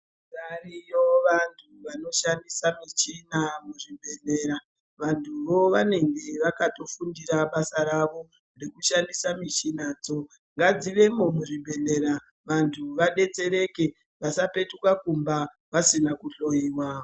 Variyo vanthu vanoshandisa michini muzvibhedhlera ,vanthu vo vange vakato fundira basa ravo, rekushandisa muchina dzo .Ngadzivemo muzvibhehlera vantu vabetsereke vasapetuka kumba vasina kuhloyiwa.